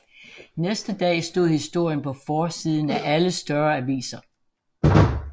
Næste dag stod historien på forsiden af alle større aviser